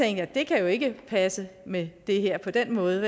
at det kan jo ikke passe med det her på den måde